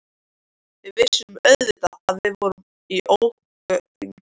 Við vissum auðvitað að við vorum í ógöngum.